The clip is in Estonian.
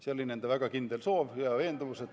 See oli nende väga kindel soov ja veendumus.